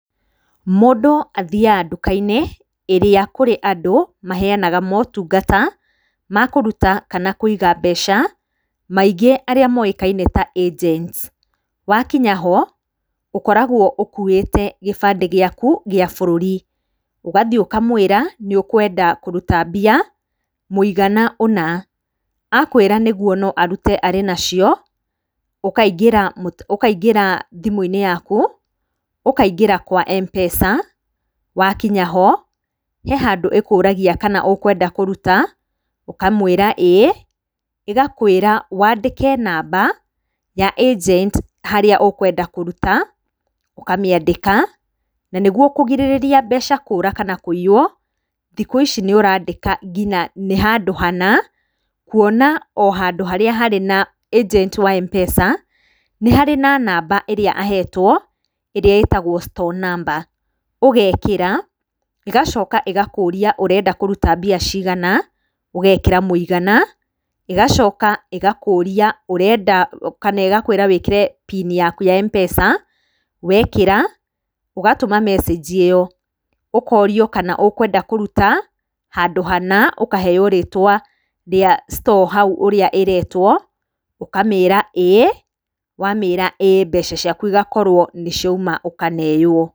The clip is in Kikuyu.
Mũndũ athiaga nduka-inĩ, ĩrĩa kũrĩ andũ maheanaga maũtungata ma kũruta kana kũiga mbeca, maingĩ arĩa moĩkaine ta agents. Wakinya ho, ũkoragwo ũkuĩte gĩbandĩ gĩaku gĩa bũrũri. Ũgathiĩ ũkamwĩra nĩũkwenda kũruta mbia mũigana ũna. Akwĩra nĩguo noarute arĩ nacio, ũkaingĩra thimũ-inĩ yaku, ũkaingĩra kwa Mpesa, wakinya ho, he handũ ĩkũragia kana ũkwenda kũruta, ũkamwĩra ĩĩ, ĩgakwĩra wandĩke namba ya agent harĩa ũkwenda kũruta ũkamĩandĩka, na nĩguo kũgirĩrĩria mbeca kũra kana kũiywo, thikũ ici nĩũrandĩka nginya nĩ handũ hana, kuona ohandũ harĩa harĩ na agent wa Mpesa, nĩ harĩ na namba ĩrĩa ahetwo, ĩrĩa ĩtagwo store number ũgekĩra, ĩgacoka ĩgakũria ũkwenda kũruta mbia cigana, ũgekĩra mũigana, ĩgacoka ĩgakũria ũrenda kana ĩgakwĩra wĩkĩre pini yaku ya Mpesa, wekĩra, ũgatũma mecĩnji ĩyo, ũkorio kana ũkwenda kũruta handũ hana, ũkaheyo rĩtwa rĩa store hau ũrĩa ĩretwo, ũkamĩra ĩĩ, wamĩra ĩĩ mbeca ciaku igakorwo nĩciauma ũkaneywo.